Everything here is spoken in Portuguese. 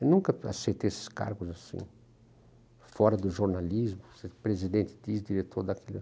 Eu nunca aceitei esses cargos assim, fora do jornalismo, presidente, disso, diretor daquilo.